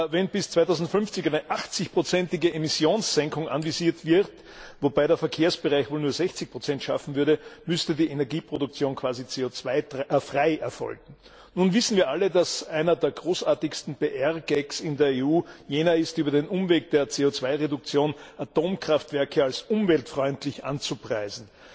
Wenn bis 2050 eine 80 ige Emmissionssenkung anvisiert wird, wobei der Verkehrsbereich wohl nur 60 schaffen würde, müsste die Energieproduktion quasi CO frei erfolgen. Nun wissen wir alle, dass einer der großartigsten PR Gags in der EU jener ist, über den Umweg der CO Reduktion Atomkraftwerke als umweltfreundlich anzupreisen.